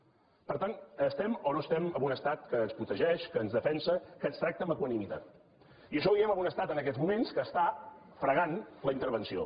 per tant estem o no estem en un estat que ens protegeix que ens defensa que ens tracta amb equanimitat i això ho diem en un estat en aquests moments que està fregant la intervenció